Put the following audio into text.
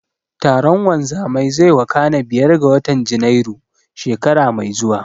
Taron wanzamai zai wakana biyar ga watan Janairu, shekara mai zuwa.